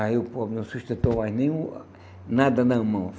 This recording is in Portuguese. Aí o povo não sustentou mais nenhum, nada na mão.